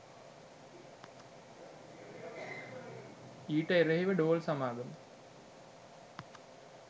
ඊට එරෙහි ව ඩෝල් සමාගම